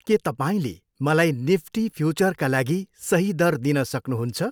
के तपाईँले मलाई निफ्टी फ्युचरका लागि सही दर दिन सक्नुहुन्छ?